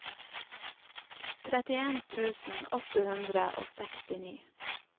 trettien tusen åtte hundre og sekstini